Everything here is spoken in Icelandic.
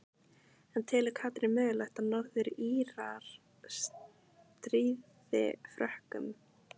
En telur Katrín mögulegt að Norður Írar stríði Frökkum?